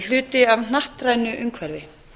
hluti af hnattrænu umhverfi